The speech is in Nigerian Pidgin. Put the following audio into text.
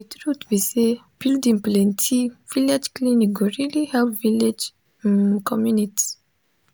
dey truth be say building plenti village clinic go really help village um communitiy